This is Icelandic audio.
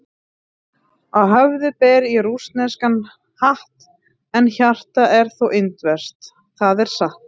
Á höfði ber ég rússneskan hatt, en hjartað er þó indverskt, það er satt.